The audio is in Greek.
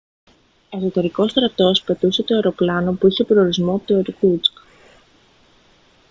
εσωτερικός στρατός πετούσε το αεροπλάνο που είχε προορισμό το ιρκούτσκ